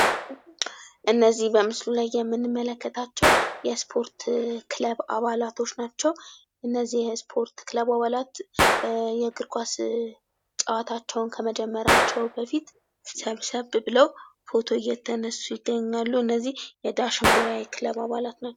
እነዚህ በምስሉ ላይ የምንመለከታቸው የስፖርት ክለብ አባላቶች ናቸው። እነዚህ የስፖርት ክለብ አባላት የእግርኳስ ጨዋታቸውን ከመደመራቸው በፊት ሰብሰብ ብለው ፎቶ እየተነሱ ይገኛሉ። እነዚህ የዳሽን ቢራ የክለብ አባላት ናቸው።